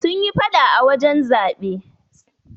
Sun yi faɗa a wurin zaɓe.